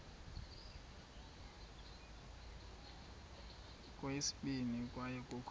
kweyesibini kwaye kukho